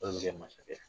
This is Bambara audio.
masakɛ